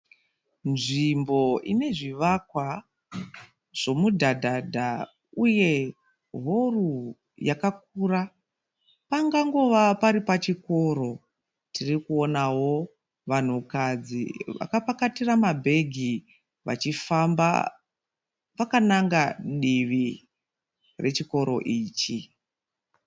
Nzvimbo ine zvivakwa zvemudhadha uye horo yakakura ,pangove pachikoro. Tirikuonawo vakadzi vakapakatira mabheke vachifamba vakananga divi rechikoro ichi.